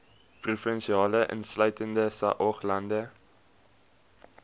provinsie insluitende saoglande